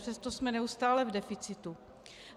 Přesto jsme neustále v deficitu.